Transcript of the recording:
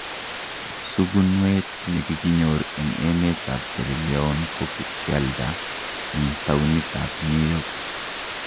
Sukunweet nekikinyor en emet ab Sierra Leone kokakialda en tounit ab New york